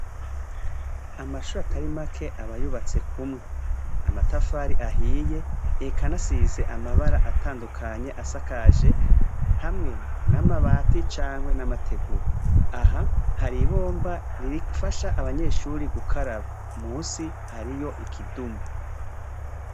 Amashure atari make aba yubatse kumwe, amatafari ahiye eka anasize amabara atandukanye asakaje hamwe n'amabati cankwe n'amategura, aha hari ibomba rifasha abanyeshuri gukaraba, musi hariyo ikidumu.